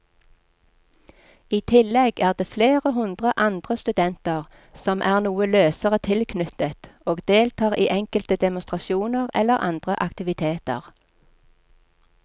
I tillegg er det flere hundre andre studenter som er noe løsere tilknyttet og deltar i enkelte demonstrasjoner eller andre aktiviteter.